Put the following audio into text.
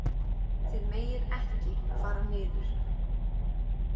Þið megið ekki fara niður.